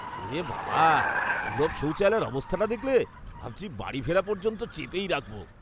ওরেবাবা, সুলভ শৌচালয়ের অবস্থাটা দেখলে? ভাবছি বাড়ি ফেরা পর্যন্ত চেপেই রাখব।